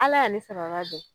Ala y'a ni sababa bɛn